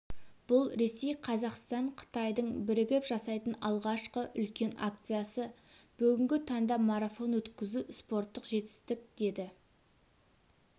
бұл ресей қазақстан қытайдың бірігіп жасайтын алғашқы үлкен акциясы бүгінгі таңда марафон өткізу спортық жетістік деді